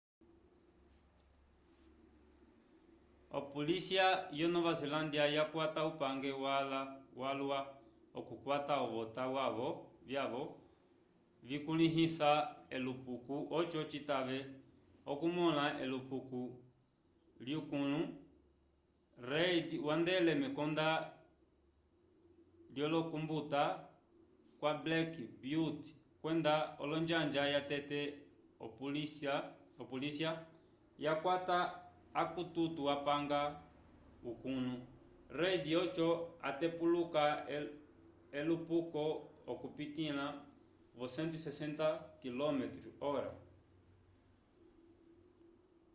opolisya yo nova zelândia yakwata upange wala k’okukwata ovota vyavo vikulĩhisa elupuko oco citave okumõla elupuko lyukũlu. reid wandele mekonda lyokumbuta kwa black beauty kwenda onjanja yatete opolisya yakwata akukutu apanga ukũlu. reid oco atepuluka elupuko okupitĩla vo 160km/h